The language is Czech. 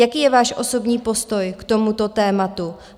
Jaký je váš osobní postoj k tomuto tématu?